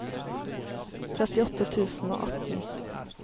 trettiåtte tusen og atten